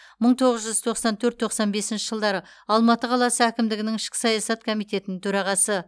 мың тоғыз жүз тоқсан төрт тоқсан бесінші жылдары алматы қаласы әкімдігінің ішкі саясат комитетінің төрағасы